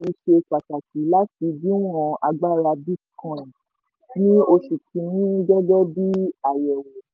ìṣesí owó yìí ṣe pàtàkì láti díwọ̀n agbára bitcoin ní oṣù kìíní gẹ́gẹ́ bí àyẹ̀wò.